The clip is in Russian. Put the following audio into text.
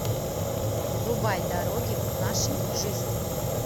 врубай дороги нашей жизни